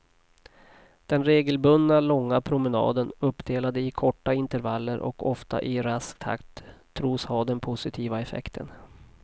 Den regelbundna långa promenaden uppdelad i korta intervaller och ofta i rask takt tros ha den positiva effekten.